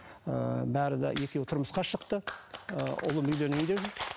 ыыы бәрі де екеуі тұрмысқа шықты ы ұлым үйленейін деп жүр